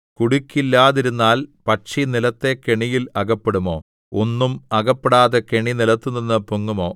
കുടുക്കില്ലാതിരുന്നാൽ പക്ഷി നിലത്തെ കെണിയിൽ അകപ്പെടുമോ ഒന്നും അകപ്പെടാതെ കെണി നിലത്തുനിന്ന് പൊങ്ങുമോ